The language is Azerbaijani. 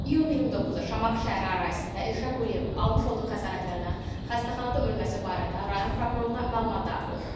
İyun 29-u Şamaxı şəhəri ərazisində Elşən Quliyevin almış olduğu xəsarətlərdən xəstəxanada ölməsi barədə rayon prokurorluğuna məlumat daxil olub.